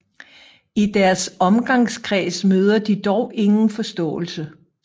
I deres omgangskreds møder de dog ingen forståelse